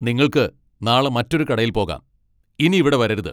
നിങ്ങൾക്ക് നാളെ മറ്റൊരു കടയിൽ പോകാം . ഇനി ഇവിടെ വരരുത്.